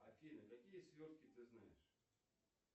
афина какие свертки ты знаешь